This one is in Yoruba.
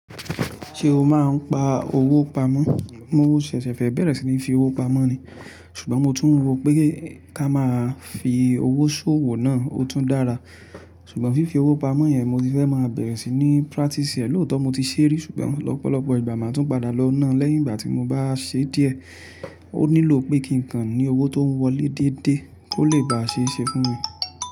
Ṣé o máa ń pa owó pamọ́? Mo ṣẹ̀ṣẹ̀ fẹ́ bẹ̀rẹ̀ sí ní fi owó pamọ́ ni, ṣùgbọ́n mo tún rò pé ká máa fi owó ṣòwò náà ó tún dára. Ṣùgbọ́n fífi owó pamọ́ yẹn mo ti fẹ́ máa bẹ̀rẹ̀ sí ní practice rẹ̀ lóòótọ́ mo ti ṣé rí ṣùgbọ́n lọ́pọ̀lọpọ̀ ìgbà máa tún padà lọ náà lẹ́yìn ìgbà tí mo bá ṣe díẹ̀. Ó nílò pé kí n kan ní owó tó ń wọlé déédéé kó lè bá ṣe é ṣe fún mi.